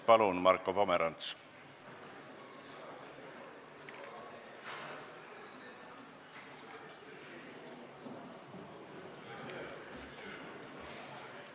Palun, Marko Pomerants!